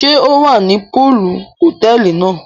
Ṣe o wá ní poolu hotẹẹli náà?